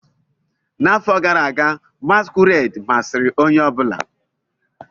N'afọ gara aga, masquerade masịrị onye ọ bụla.